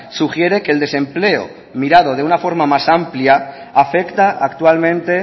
sugiere que el desempleo mirado de una forma más amplia afecta actualmente